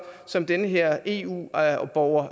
som den her eu borger